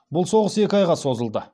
бұл соғыс екі айға созылды